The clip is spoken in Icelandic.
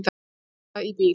Bíða í bíl.